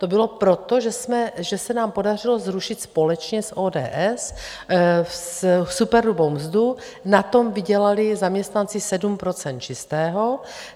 To bylo proto, že se nám podařilo zrušit společně s ODS superhrubou mzdu, na tom vydělali zaměstnanci 7 % čistého.